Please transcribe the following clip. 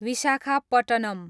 Visakhapatnam